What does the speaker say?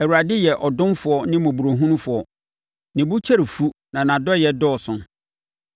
Awurade yɛ ɔdomfoɔ ne mmɔborɔhunufoɔ; ne bo kyɛre fu na nʼadɔeɛ dɔɔso.